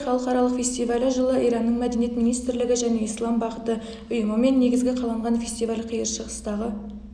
фаджр халықаралық фестивалі жылы иранның мәдениет министрлігі және ислам бағыты ұйымымен негізі қаланған фестиваль қиыр шығыстағы